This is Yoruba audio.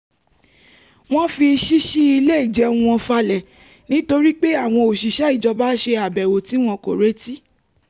wọ́n fi ṣíṣí ilé ìjẹun wọn falẹ̀ nítorí pé àwọn òṣìṣẹ́ ìjọba ṣe àbèwò tí wọn kò retí